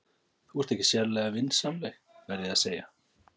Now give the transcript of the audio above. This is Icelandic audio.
Þú ert ekki sérlega vinsamleg, verð ég að segja.